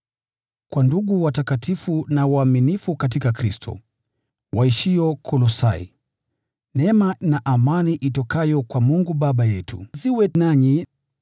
Kwa ndugu watakatifu na waaminifu katika Kristo, waishio Kolosai: Neema na amani zitokazo kwa Mungu Baba yetu ziwe nanyi.